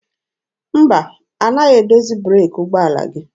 Mba, anaghị edozi breeki ụgbọala gị.